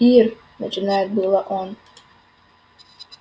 ир начинает было он